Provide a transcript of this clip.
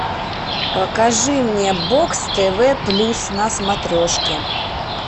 покажи мне бокс тв плюс на смотрешки